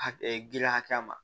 Ha gila hakɛya ma